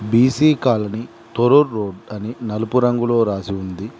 BC colony Torrur road అని నలుపు రంగులో రాసి ఉంది.